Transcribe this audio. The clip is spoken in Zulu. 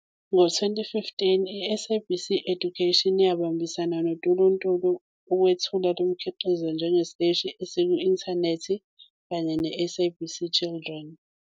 Ngo-2015, iSABC Education yabambisana noTuluntulu ukwethula lo mkhiqizo njengesiteshi esiku-inthanethi kanye neSABC Children.